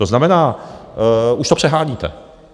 To znamená, už to přeháníte.